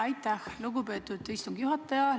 Aitäh, lugupeetud istungi juhataja!